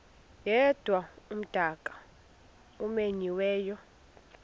yedwa umdaka omenyiweyo